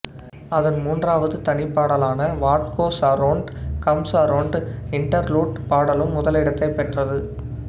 அதன் மூன்றாவது தனிப்பாடலான what goes around comes around interlude பாடலும் முதலிடத்தைப் பெற்றது